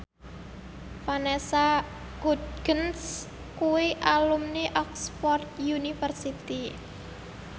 Vanessa Hudgens kuwi alumni Oxford university